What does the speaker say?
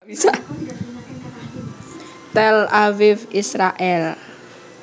Tel Aviv Israèl